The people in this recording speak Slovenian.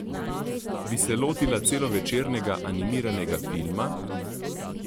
Bi se lotila celovečernega animiranega filma?